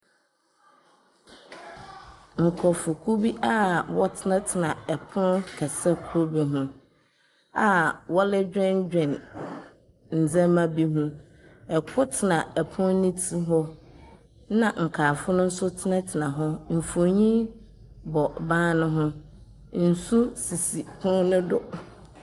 Nkorɔfokuw a wɔtsenatsena pon kɛse kor bi ho, a wɔrodwendwen ndzɛmba bi ho. Kor tsena pon ne tsir hɔ na nkaafo no tsenatsena ho, mfonyin bɔ ban no ho, nsu sisi pon no do.